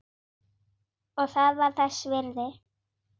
Og það var þess virði.